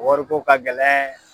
Wariko ka gɛlɛn